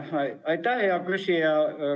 Aitäh, hea küsija!